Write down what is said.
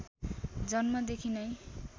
जन्मदेखि नै